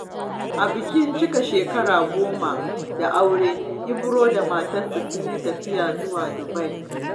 A bikin cikar shekara goma da aure, Ibro da matarsa sun yi tafiya zuwa Dubai.